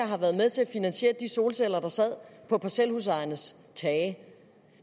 har været med til at finansiere de solceller der sad på parcelhusejernes tage